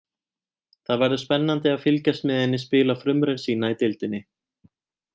Það verður spennandi að fylgjast með henni spila frumraun sína í deildinni.